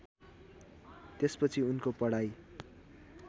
त्यसपछि उनको पढाइ